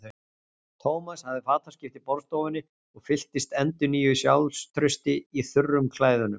Thomas hafði fataskipti í borðstofunni og fylltist endurnýjuðu sjálfstrausti í þurrum klæðunum.